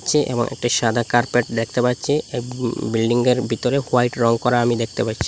চে এবং একটি সাদা কার্পেট দেখতে পাচ্ছি এব উ বিল্ডিংয়ের ভিতরে হোয়াইট রং করা আমি দেখতে পাচ্ছ--